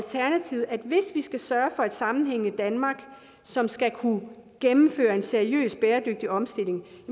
hvis vi skal sørge for et sammenhængende danmark som skal kunne gennemføre en seriøs bæredygtig omstilling